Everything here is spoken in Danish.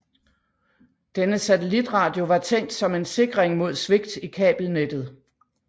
Denne satellitradio var tænkt som en sikring mod svigt i kabelnettet